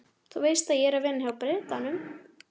Þú veist að ég er að vinna hjá Bretanum?